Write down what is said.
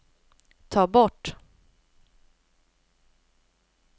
ta bort